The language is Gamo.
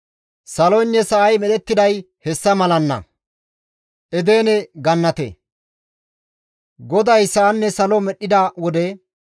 Saloynne sa7ay medhettiday hessa malanna. Edene Gannate GODAY sa7anne salo medhdhida wode,